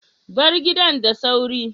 Bar gidan da sauri.